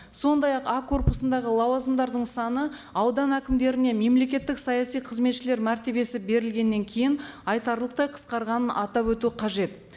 сондай ақ а корпусындағы лауазымдардың саны аудан әкімдеріне мемлекеттік саяси қызметшілер мәртебесі берілгеннен кейін айтарлықтай қысқарғанын атап өту қажет